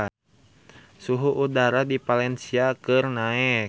Suhu udara di Valencia keur naek